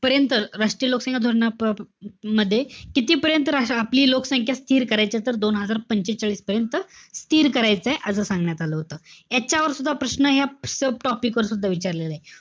पर्यंत, राष्ट्रीय लोकसंख्या धोरणामध्ये कितीपर्यंत आपली लोकसंख्या स्थिर करायची? तर दोन हजार पंचेचाळीसपर्यंत, स्थिर करायचंय. असं सांगण्यात आलं होतं. याच्यावर सुद्धा प्रश्न या topic वर सुद्धा विचारलेलाय.